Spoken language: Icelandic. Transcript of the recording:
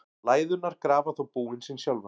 Læðurnar grafa þó búin sín sjálfar.